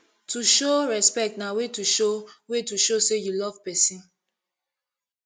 to show respect na way to show way to show say you love persin